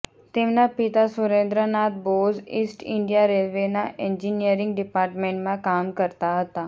તેમના પિતા Surendranath Bose east India રેલ્વેના એન્જિનિયરિંગ ડિપાર્ટમેન્ટમાં કામ કરતા હતા